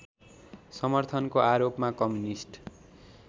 समर्थनको आरोपमा कम्युनिस्ट